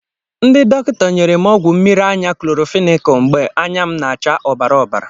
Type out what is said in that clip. Ndị dọkịta nyere m ọgwụ mmiri anya klorọnfenikal mgbe anya m na-acha ọbara ọbara.